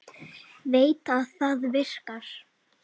Veit að það virkar.